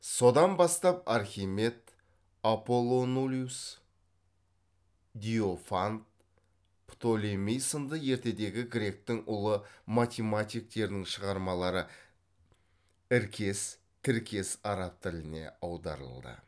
содан бастап архимед аполлонолиус диофант птолемей сынды ертедегі гректің ұлы математиктерінің шығармалары іркес тіркес араб тіліне аударылды